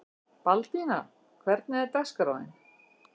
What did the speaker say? Baldína, hvernig er dagskráin?